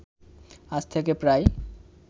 আজ থেকে প্রায়